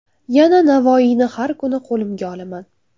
Yana Navoiyni har kuni qo‘limga olaman.